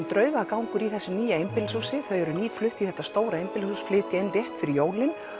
draugagangur í þessu nýja einbýlishúsi þau eru nýflutt í þetta stóra einbýlishús flytja inn rétt fyrir jólin